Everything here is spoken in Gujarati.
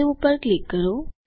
સવે ઉપર ક્લિક કરો